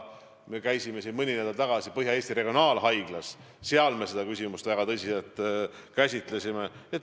Me käisime mõni nädal tagasi Põhja-Eesti Regionaalhaiglas ja ka seal me arutasime seda küsimust väga tõsiselt.